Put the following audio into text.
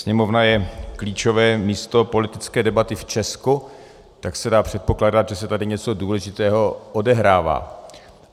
Sněmovna je klíčové místo politické debaty v Česku, tak se dá předpokládat, že se tady něco důležitého odehrává.